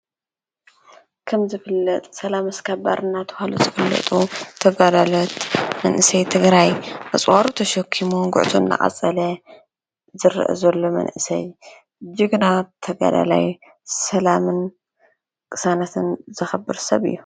ከም ዝፍለጥ ሰላም ስ ካባር ናተውሃሉ ዘፍለጡ ተጋዳለት መንእሰይ ትግራይ ኣፁዋሩ ተሸኪሙ ጕዕቱ ናዓጸለ ዝር ዘሎ መንእሰይ ጅግና ተጋዳላይ ሰላምን ቅሳናትን ዘኸብር ሰብ እዩ።